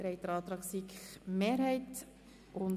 Sie haben den Antrag